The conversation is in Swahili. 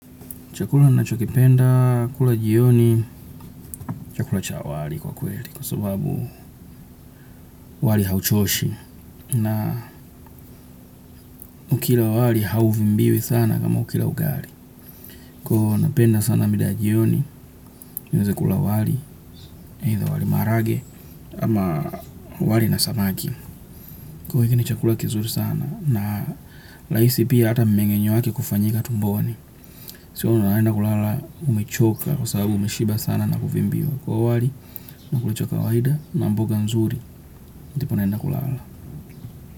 Chakula nachokipenda, kula jioni, chakula cha wali kwa kweli kwa sababu wali hauchoshi na ukila wali hauvimbiwi sana kama ukila ugali. Kwa hiyo napenda sana mida ya jioni, niweze kula wali, eitha wali marage ama wali na samaki. Kwa hiyo hiki ni chakula kizuri sana na raisi pia ata mmengenyo wake kufanyika tumboni. Sio unaenda kulala umechoka kwa sababu umishiba sana na kuvimbiwa. Kwa hiyi wali nakula cha kawaida na mboga nzuri ndupo naenda kulala.